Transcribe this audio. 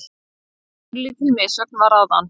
Örlítil missögn var áðan.